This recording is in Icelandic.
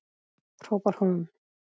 hrópar hún.